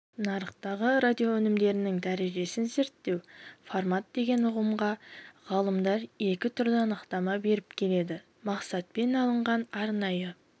нарықтағы радиоөнімдерінің дәрежесін зерттеу формат деген ұғымға ғалымдар екі түрлі анықтама беріп келеді мақсатпен алынған арнайы